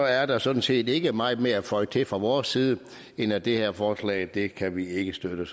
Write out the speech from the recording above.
er der sådan set ikke meget mere at føje til fra vores side end at det her forslag kan kan vi ikke støtte